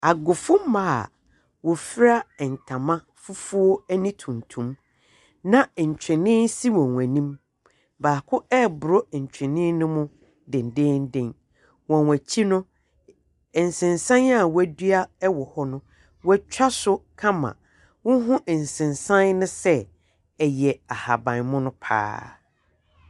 Agofomma a wɔfura ntama fufuo ne tuntum, na ntwene si wɔn anim. Baako reboro ntwene no mu dennennen. Wɔn akyi no, nsensan a wɔadua wɔ hɔ no, wɔatwa so kama. Wohu nsensan no sɛ ɛyɛ ahaban mono pa ara.